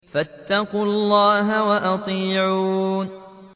فَاتَّقُوا اللَّهَ وَأَطِيعُونِ